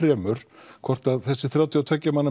hvort þessi þrjátíu og tveggja manna